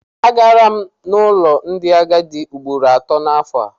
Agara n'ụlọ ndị agadi ugboro atọ n'afọ.